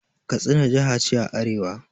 Katsina jiha ce a arewa.